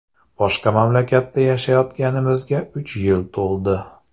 Boshqa mamlakatda yashayotganimizga uch yil to‘ldi.